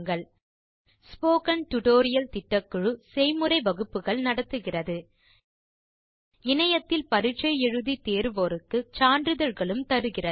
000951 000953 spoken tutorial திட்டக்குழு இணையத்தில் பரிட்சை எழுதி தேர்வோருக்கு சான்றிதழ்களும் தருகிறது